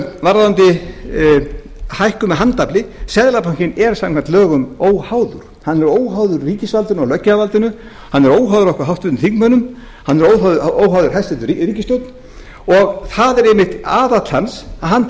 varðandi hækkun með handafli seðlabankinn er samkvæmt lögum óháður hann er óháður ríkisvaldinu og löggjafarvaldinu hann er óháður háttvirtum þingmönnum hann er óháður hæstvirt ríkisstjórn og það er einmitt aðall hans að hann